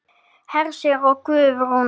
Hersir og Guðrún.